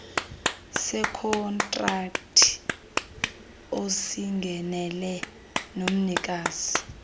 sekhontrakthi osingenele nomnikazi